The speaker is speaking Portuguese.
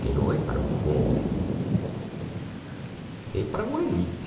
Que não é para o povo, é para uma elite.